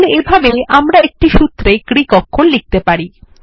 তাহলে এভাবেই আমরা একটি সুত্রে গ্রীক অক্ষর লিখতে পারি